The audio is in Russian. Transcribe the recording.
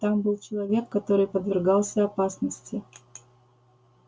там был человек который подвергался опасности